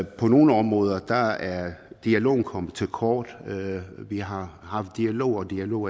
på nogle områder er dialogen kommet til kort vi har haft dialog og dialog